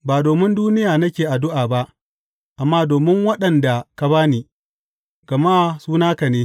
Ba domin duniya nake addu’a ba, amma domin waɗanda ka ba ni, gama su naka ne.